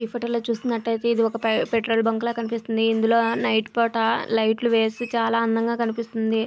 ఈ ఫొటో లో చూసినట్టుయితే ఇది ఒక పెట్రోల్ బంక్ లాగా కనిపిస్తోంది. ఇది నైట్ పూట లైట్ వేసి చాలా అందంగా కనిపిస్తుంది .